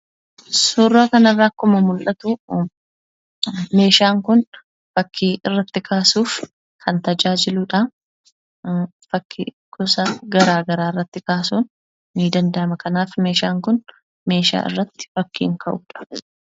Suuraa kana irraa akkuma mul'atu meeshaa fakkii irratti kaasuuf kan tajaajiludha. Fakkii gosa garaa garaas irratti kaasuun ni danda'ama. Kanaaf meeshaan kun meeshaa irratti fakkiin ka'udha.